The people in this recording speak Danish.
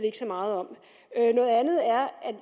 ikke så meget om noget andet er at